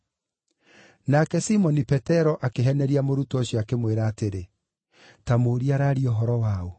Nake Simoni Petero akĩheneria mũrutwo ũcio, akĩmwĩra atĩrĩ, “Ta mũũrie araaria ũhoro wa ũ.”